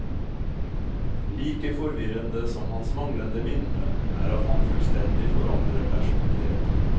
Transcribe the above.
Like forvirrende som hans manglende minne, er at han fullstendig forandrer personlighet.